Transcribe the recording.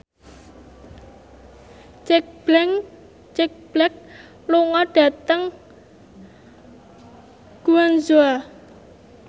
Jack Black lunga dhateng Guangzhou